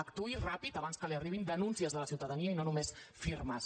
actuï ràpid abans que li arribin denúncies de la ciutadania i no només firmes